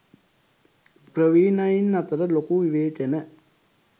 ප්‍රවීනයින් අතර ලොකු විවේචන